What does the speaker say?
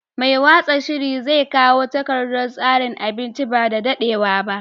Mai watsa shiri zai kawo takardar tsarin abincin ba da daɗewa ba.